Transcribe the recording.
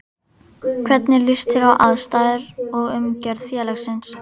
Hvernig líst þér á aðstæður og umgjörð félagsins?